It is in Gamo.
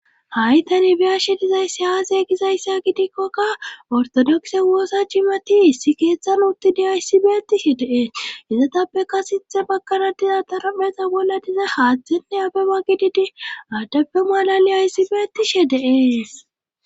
ha'i tani biyashe dizayssi aase gizayssa gidikkoka ortodokse woossa cimati issi keeththan uttidi ayssibeetishe deees izatappeka sithe bakana diza darameza bolla dize haaththenne abe bagididi aaddappe malali aysibeetishe deees